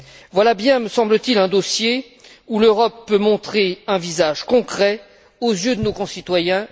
Voilà bien, me semble t il, un dossier où l'Europe peut montrer un visage concret aux yeux de nos concitoyens.